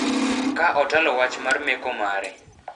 ka otalo wach mar meko mare.